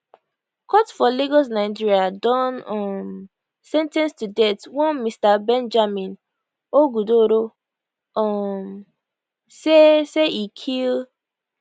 court for lagos nigeria don um sen ten ce to death one mr benjamin ogudoro um say say e kill